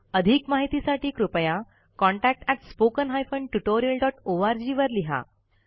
अधिक माहितीसाठी कृपया contactspoken tutorialorg वर लिहा